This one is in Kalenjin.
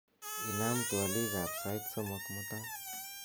inam twolik ab sait somok mutai